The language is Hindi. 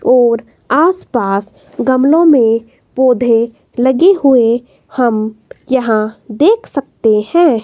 और आसपास गमलों में पौधे लगे हुए हम यहां देख सकते हैं।